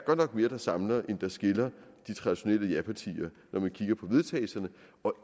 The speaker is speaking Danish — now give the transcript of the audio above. mere der samler end der skiller de traditionelle japartier når man kigger på vedtagelse og